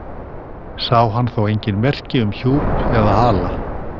Sá hann þó engin merki um hjúp eða hala.